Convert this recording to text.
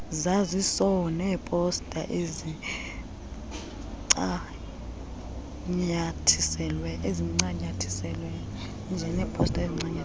zaziso neeposta ezincanyathiselwe